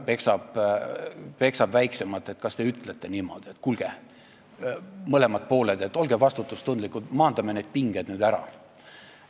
Kui suurem peksab väiksemat, kas te ütlete niimoodi, et kuulge, mõlemad pooled, olge vastutustundlikud ja maandame need pinged nüüd ära?